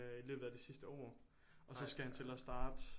I løbet af det sidste år og så skal han til at starte